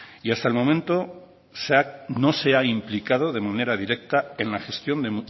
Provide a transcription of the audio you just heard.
y hasta el momento no se ha implicado de manera directa en la gestión de